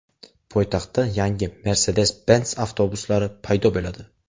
Poytaxtda yangi Mercedes-Benz avtobuslari paydo bo‘ladi.